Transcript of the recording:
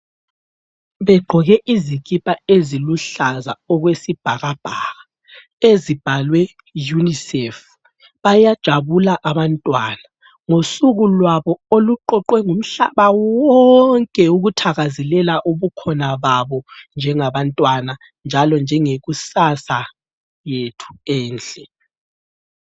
Begqoke izikipa eziluhlaza okwesibhakabhaka ezibhalwe UNICEF, bayajabula abantwana ngosukulwabo oluqoqwe ngumhlaba wonke ukuthakazelela ubukhona babo njengabantwana njalo njengekusasa yethu enhle.